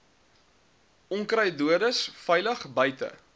onkruiddoders veilig buite